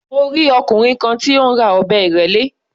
Mo rí ọkùnrin kan tí ó ń ra ọ̀bẹ ìrẹ́lé.